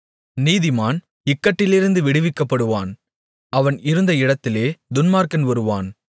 நீதிமான் இக்கட்டிலிருந்து விடுவிக்கப்படுவான் அவன் இருந்த இடத்திலே துன்மார்க்கன் வருவான்